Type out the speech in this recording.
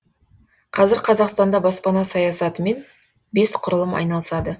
қазір қазақстанда баспана саясатымен бес құрылым айналысады